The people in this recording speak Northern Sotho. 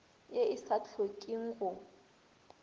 ye e sa hlokeng go